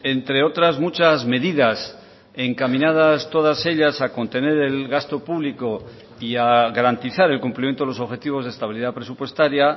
entre otras muchas medidas encaminadas todas ellas a contener el gasto público y a garantizar el cumplimiento de los objetivos de estabilidad presupuestaria